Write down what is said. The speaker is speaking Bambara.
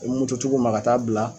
U tigiw ma ka t'a bila.